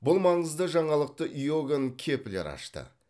бұл маңызды жаңалықты иоганн кеплер ашты